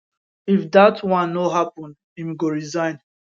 if dat one no happun im go resign